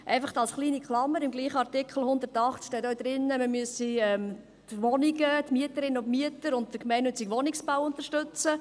Einfach als kleine Klammer: Im gleichen Artikel 108 steht auch, man müsse die Wohnungen, die Mieterinnen und Mieter und den gemeinnützigen Wohnungsbau unterstützen.